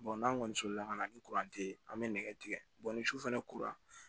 n'an kɔni soli la ka na ni ye an bɛ nɛgɛ tigɛ ni su fana kuru la